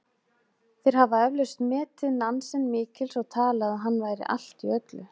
Þeir hafa eflaust metið Nansen mikils og talið að hann væri allt í öllu.